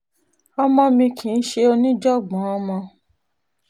ọmọ mi kì í ṣe oníjàngbọ̀n ọmọ um